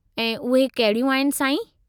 ऐं उहे कहिड़ियूं आहिनि, साईं?